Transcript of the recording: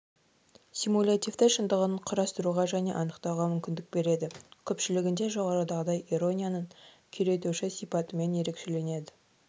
симулятивті шындығын құрастыруға және анықтауға мүмкіндік береді көпшілігінде жоғарыдағыдай иронияның күйретуші сипатымен ерекшеленеді